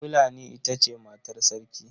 Fulani ita ce matar Sarki.